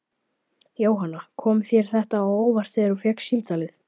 Jóhanna: Kom þér þetta á óvart þegar þú fékkst símtalið?